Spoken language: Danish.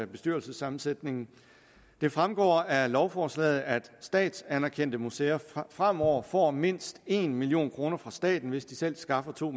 bestyrelsessammensætningen det fremgår af lovforslaget at statsanerkendte museer fremover får mindst en million kroner fra staten hvis de selv skaffer to